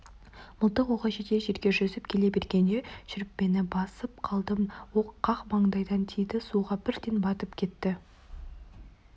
мылтық оғы жетер жерге жүзіп келе бергенде шүріппені басып қалдым оқ қақ маңдайдан тиді суға бірден батып кетті